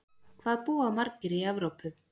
Hvað búa margir í Evrópu?